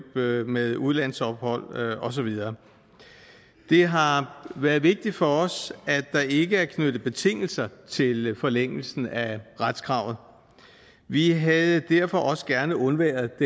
med med udlandsophold og så videre det har været vigtigt for os at der ikke er knyttet betingelser til forlængelsen af retskravet vi havde derfor også gerne undværet